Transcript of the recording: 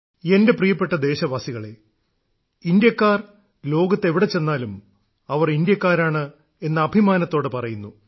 എന്റെ പ്രിയപ്പെട്ട ദേശവാസികളേ ഇന്ത്യാക്കാർ ലോകത്ത് എവിടെ ചെന്നാലും അവർ ഇന്ത്യക്കാരാണ് എന്ന് അഭിമാനത്തോടെ പറയുന്നു